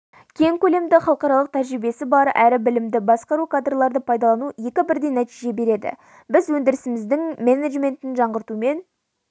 кең көлемді халықаралық тәжірибесі бар әрі білімді басқару кадрларды пайдалану екі бірдей нәтиже береді біз өндірісіміздің менеджментін жаңғыртумен